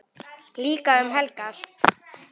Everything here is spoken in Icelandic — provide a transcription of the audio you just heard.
Líka um helgar.